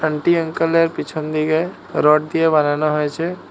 Aunty uncle এর পিছন দিকে রড দিয়ে বানানো হয়েছে।